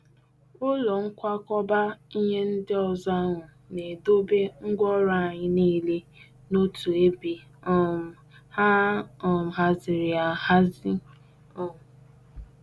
Ụlọ nkwakọba ihe ndi ọzọ ahụ na-edobe ngwaọrụ anyị niile n'otu ebe um a um haziri ahazi. um